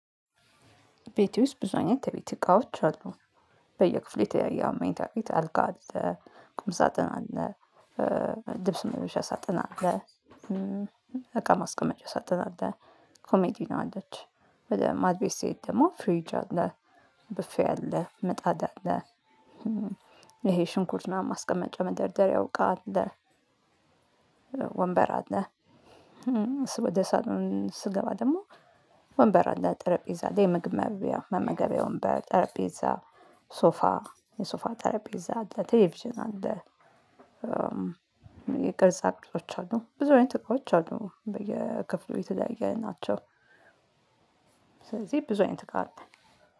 ቤት ውስጥ ብዙ አይነት የቤት እቃዎች አሉ። በየ ክፍሉ የተለያየ መኝታ ቤት ሀልጋ ቁም ሳጥን አለ ልብስ መልበሻ ሳጥን አለ እቃ ማስቀመጫ ሳጥን አለ ኮመዲና አለች ወደ ማድቤት ስትሄድ ደግሞ ፍሪጅ አለ ቡፌ አለ ምጣድ አለ ይሄ ሽንኩርት ምናምን ማስቀመጫ መደርደሪያው እቃ አለ። ወንበር አለ ወደ ሳጥኑ ስገባ ደግሞ ወንበር አለ ጠረጴዛ አለ የምግብ መብሊያ መመገቢያ ወንበር ጠረጴዛ ሶፋ የሶፋ ጠረጴዛ አለ ቴሌቪዥን አለ የቅርጻ ቅርጾች አሉ ብዙ አይነት ቅርጾች አሉ በየክፍሉ የተለያየ ናቸው ስለዚህ ብዙ አይነት እቃ አለ